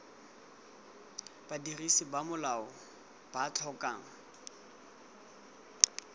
badirisi ba tsela ba tlhokang